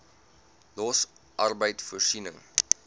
los arbeid voorsiening